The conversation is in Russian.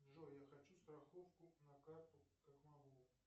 джой я хочу страховку на карту как могу